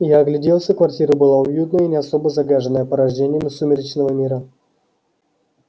я огляделся квартира была уютная и не особо загаженная порождениями сумеречного мира